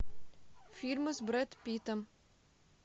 фильмы с брэд питтом